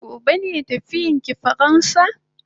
Gobe ne tafiyan ki faransa?